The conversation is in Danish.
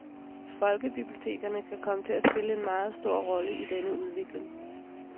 Folkebibliotekerne kan komme til at spille en meget stor rolle i denne udvikling.